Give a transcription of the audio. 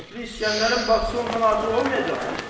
Kefli İsgəndərin bacısı ondan artıq olmayacaq ki?